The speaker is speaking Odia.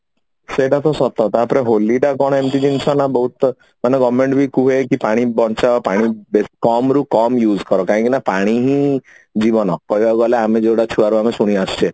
ସେଇଟା ତ ସତ ତାପରେ ହୋଲି ଟା କଣ ଏମିତି ଜିନିଷ ନା government ବି କୁହେ ପାଣି ବଞ୍ଚାଅ ପାଣି କମ୍ ରୁ କମ use କର କାରଣ ପାଣି ହିଁ ଜୀବନ କହିବାକୁ ଗଲେ ଆମେ ଯୋଉଟା ଛୁଆରୁ ଆମେ ଶୁଣି ଆସୁଛେ